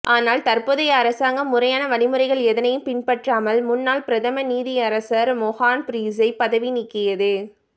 ஆனால் தற்போதைய அரசாங்கம் முறையான வழிமுறைகள் எதனையும் பின்பற்றாமல் முன்னாள் பிரதம நீதியரசர் மொஹான் பீரிஸை பதவி நீக்கியது